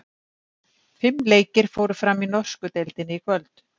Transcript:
Fimm leikir fóru fram í norsku deildinni í kvöld.